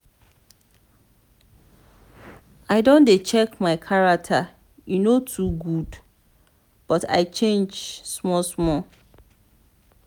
i don dey check my character e no too good but i change small-small.